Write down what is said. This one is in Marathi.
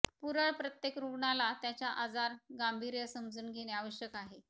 पुरळ प्रत्येक रुग्णाला त्याच्या आजार गांभीर्य समजून घेणे आवश्यक आहे